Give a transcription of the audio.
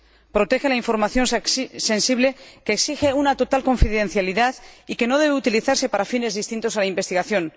protege la información sensible que exige una total confidencialidad y que no debe utilizarse para fines distintos a la investigación.